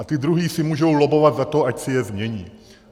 A ty druhé si můžou lobbovat za to, ať si je změní.